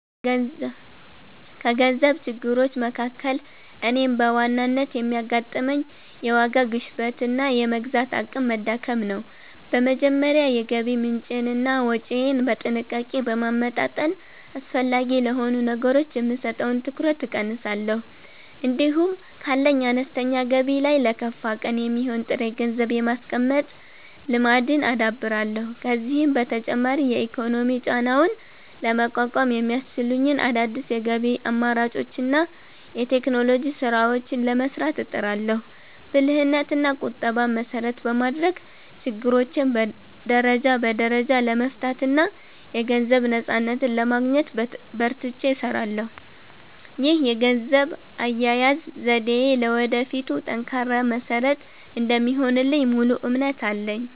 ከገንዘብ ችግሮች መካከል እኔን በዋናነት የሚያጋጥመኝ፣ የዋጋ ግሽበትና የመግዛት አቅም መዳከም ነው። በመጀመሪያ የገቢ ምንጬንና ወጪዬን በጥንቃቄ በማመጣጠን፣ አላስፈላጊ ለሆኑ ነገሮች የምሰጠውን ትኩረት እቀንሳለሁ። እንዲሁም ካለኝ አነስተኛ ገቢ ላይ ለከፋ ቀን የሚሆን ጥሬ ገንዘብ የማስቀመጥ ልማድን አዳብራለሁ። ከዚህም በተጨማሪ የኢኮኖሚ ጫናውን ለመቋቋም የሚያስችሉኝን አዳዲስ የገቢ አማራጮችንና የቴክኖሎጂ ስራዎችን ለመስራት እጥራለሁ። ብልህነትና ቁጠባን መሰረት በማድረግ፣ ችግሮቼን ደረጃ በደረጃ ለመፍታትና የገንዘብ ነፃነትን ለማግኘት በርትቼ እሰራለሁ። ይህ የገንዘብ አያያዝ ዘዴዬ ለወደፊቱ ጠንካራ መሰረት እንደሚሆንልኝ ሙሉ እምነት አለኝ።